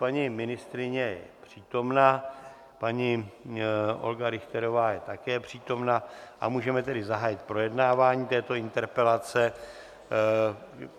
Paní ministryně je přítomna, paní Olga Richterová je také přítomna, a můžeme tedy zahájit projednávání této interpelace.